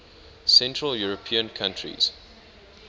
central european countries